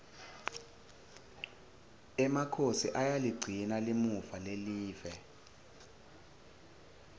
emakhosi ayaligcina limuva lelive